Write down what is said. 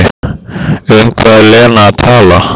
Um hvað er Lena að tala?